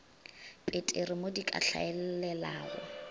peteri mo di ka hlaelelago